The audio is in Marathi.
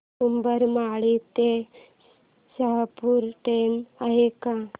उंबरमाळी ते शहापूर ट्रेन आहे का